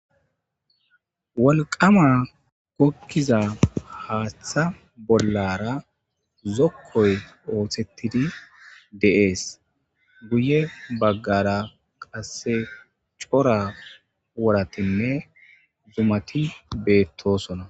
wolqama kokkiza haaththa bollara zokkoy oothettidi deees guye baggara qasse cora wuratinne zumati beettosona